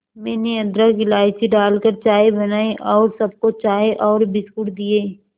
मैंने अदरक इलायची डालकर चाय बनाई और सबको चाय और बिस्कुट दिए